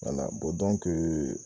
wala bɔn dɔnke